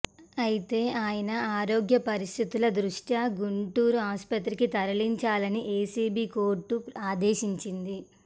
అయితే ఆయన ఆరోగ్య పరిస్థితుల దృష్ట్యా గుంటూరు ఆసుపత్రికి తరలించాలని ఏసీబీ కోర్టు ఆదేశించింది